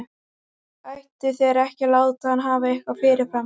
Ættu þeir ekki að láta hann hafa eitthvað fyrirfram?